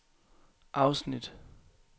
afsnit